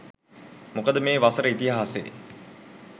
මොකද මේ වසර ඉතිහාසයේ